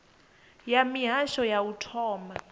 ya mihasho ya u thoma